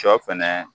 Sɔ fɛnɛ